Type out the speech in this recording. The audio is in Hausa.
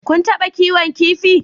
Kun taɓa kiwon kifi?